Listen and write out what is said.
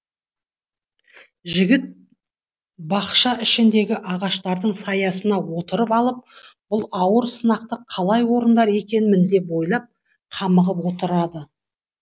жігіт бақша ішіндегі ағаштардың саясына отырып алып бұл ауыр сынақты қалай орындар екенмін деп ойлап қамығып отырады